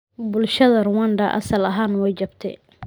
Bulshada Rwanda asal ahaan way jabtay.